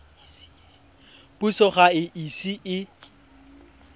puso ga e ise e